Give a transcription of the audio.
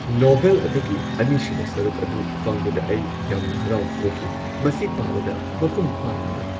Novel ꯑꯗꯨꯒꯤ ꯑꯅꯤꯁꯨꯕ ꯁꯔꯨꯛ ꯑꯗꯨ ꯐꯪꯕꯗ ꯑꯩ ꯌꯥꯝꯅ ꯍꯔꯥꯎꯕ ꯄꯣꯛꯈꯤ ꯫ ꯃꯁꯤ ꯄꯥꯕꯗ ꯃꯄꯨꯡ ꯐꯥꯅ ꯅꯨꯡꯉꯥꯏ ꯫